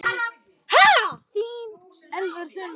Þín Elfur Sunna.